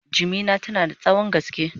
jimina tana da tsawon gaske